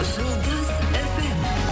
жұлдыз фм